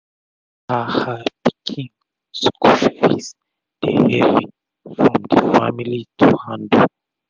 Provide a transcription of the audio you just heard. her her pikin school fees dey hevi from d family to handle